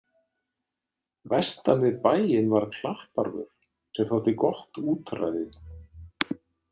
Vestan við bæinn var Klapparvör, sem þótti gott útræði.